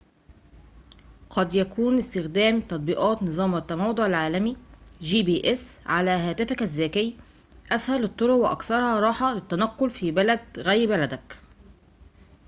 قد يكون استخدام تطبيقات نظام التموضع العالمي جي بي إس على هاتفك الذكي أسهل الطرق وأكثرها راحةً للتنقل في بلدٍ غير بلدك